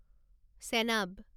Chenab